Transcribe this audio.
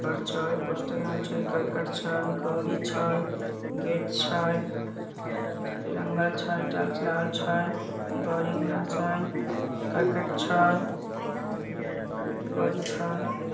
poster लागल छै करकट छै गाड़ी छै गेट छै इ रंगल छै टाइल्स लागल छै गाड़ी घोडा छै करकट छै अ गाड़ी छै |